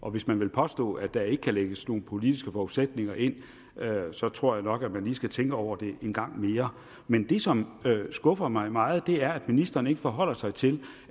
og hvis man vil påstå at der ikke kan lægges nogen politiske forudsætninger ind så tror jeg nok at man lige skal tænke over det en gang mere men det som skuffer mig meget er at ministeren ikke forholder sig til